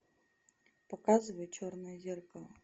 показывай черное зеркало